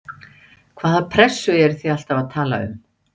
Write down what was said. Hvaða pressu eruð þið alltaf að tala um?